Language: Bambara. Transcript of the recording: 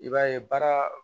I b'a ye baara